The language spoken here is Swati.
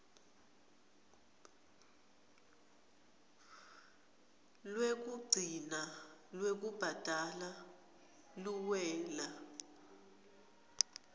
lwekugcina lwekubhadala luwela